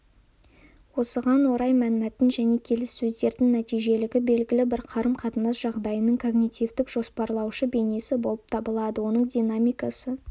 осыған орай мәнмәтін және келіссөздердің нәтижелігі белгілі бір қарым-қатынас жағдайының когнитивтік-жоспарлаушы бейнесі болып табылады оның динамикасы